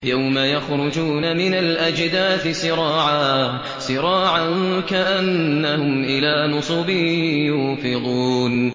يَوْمَ يَخْرُجُونَ مِنَ الْأَجْدَاثِ سِرَاعًا كَأَنَّهُمْ إِلَىٰ نُصُبٍ يُوفِضُونَ